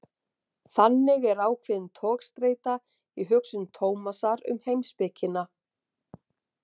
Þannig er ákveðin togstreita í hugsun Tómasar um heimspekina.